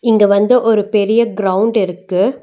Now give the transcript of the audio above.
இங்க வந்து ஒரு பெரிய க்ரௌண்ட் இருக்கு.